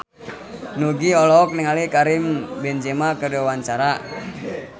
Nugie olohok ningali Karim Benzema keur diwawancara